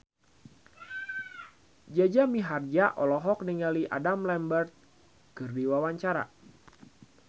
Jaja Mihardja olohok ningali Adam Lambert keur diwawancara